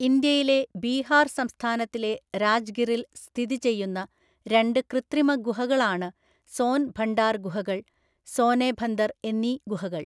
ഇന്ത്യയിലെ ബീഹാർ സംസ്ഥാനത്തിലെ രാജ്ഗിറിൽ സ്ഥിതി ചെയ്യുന്ന രണ്ട് കൃത്രിമ ഗുഹകളാണ് സോൻ ഭണ്ഡാർ ഗുഹകൾ, സോനെഭന്ദർ എന്നീ ഗുഹകൾ.